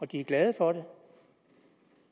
de er glade for det